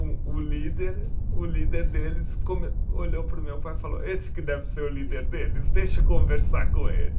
O o líder, o líder deles come, olhou para o meu pai e falou, esse que deve ser o líder deles, deixa eu conversar com ele.